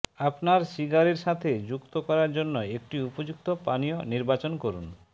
আপনার সিগারের সাথে যুক্ত করার জন্য একটি উপযুক্ত পানীয় নির্বাচন করুন